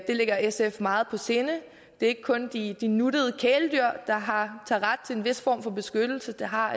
ligger sf meget på sinde det er ikke kun de de nuttede kæledyr der har ret til en vis form for beskyttelse det har